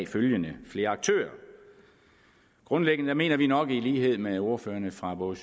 følgende flere aktører grundlæggende mener vi nok i lighed med ordførerne fra både